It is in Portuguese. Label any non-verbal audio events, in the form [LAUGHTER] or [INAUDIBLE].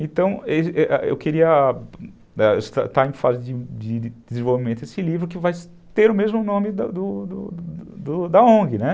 Então, [UNINTELLIGIBLE] eu queria estar em fase de desenvolvimento desse livro que vai ter o mesmo nome do do da ongue, né.